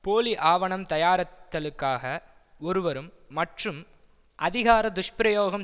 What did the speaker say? போலி ஆவணம் தயாரித் தலுக்காக ஒருவரும் மற்றும் அதிகார துஷ்பிரயோகம்